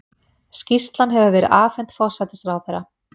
Skýrslan hefur verið afhent forsætisráðherra